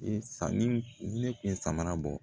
Sanni ne kun be samara bɔ